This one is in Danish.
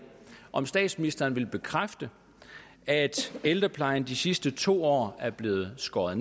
om statsministeren vil bekræfte at ældreplejen de sidste to år er blevet skåret